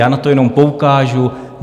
Já na to jenom poukážu.